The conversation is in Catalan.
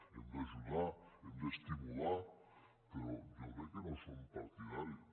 hem d’ajudar hem d’estimular però jo crec que no som partidaris